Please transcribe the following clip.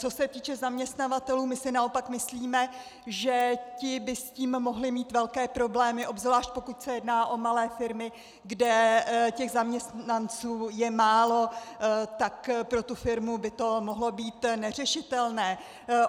Co se týče zaměstnavatelů, my si naopak myslíme, že ti by s tím mohli mít velké problémy, obzvlášť pokud se jedná o malé firmy, kde těch zaměstnanců je málo, tak pro tu firmu by to mohlo být neřešitelné.